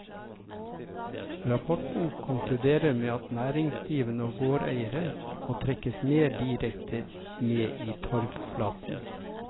Rapporten konkluderer med at næringsdrivende og gårdeiere må trekkes mer direkte med i torvflaten.